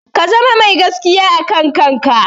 Ka zama mai gaskiya a kan kanka.